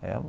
é uma.